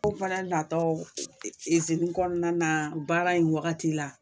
Ko fɛnɛ natɔ e e e izini kɔnɔna na baara in wagati la